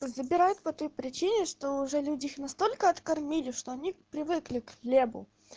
забирает по той причине что уже люди их настолько откормили что они привыкли к хлебу